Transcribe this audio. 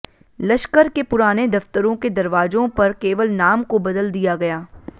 लश्कर के पुराने दफ्तरों के दरवाजों पर केवल नाम को बदल दिया गया